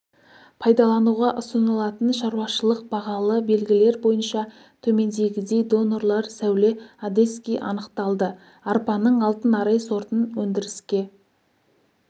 пайдалануға ұсынылатын шаруашылық бағалы белгілер бойынша төмендегідей донорлар сәуле одесский анықталды арпаның алтын арай сортын өндіріске